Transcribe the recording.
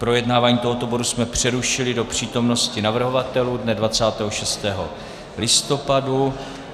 Projednávání tohoto bodu jsme přerušili do přítomnosti navrhovatelů dne 26. listopadu.